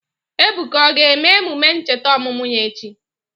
Ebuka o ga-eme emume ncheta ọmụmụ ya echi?